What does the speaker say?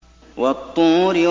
وَالطُّورِ